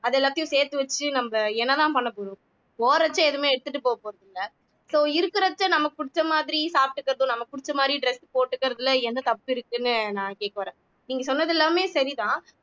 அது எல்லாத்தையும் சேர்த்து வச்சு நம்ம என்னதான் பண்ண போறோம் போறச்ச எதுவுமே எடுத்துட்டு போக போறது இல்லை so இருக்கிறச்சே நமக்கு புடிச்ச மாதிரி சாப்பிட்டுக்கறதும் நமக்கு புடிச்ச மாதிரி dress போட்டுக்கிறதுல என்ன தப்பு இருக்குன்னு நான் கேட்க வரேன் நீங்க சொன்னது எல்லாமே சரிதான்